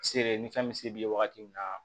Sere ni fɛn bɛ se b'i ye wagati min na